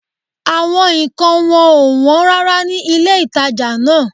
Àwọn nǹkan wọn ò wọ́n rárá ní ilé-ìtàjà náà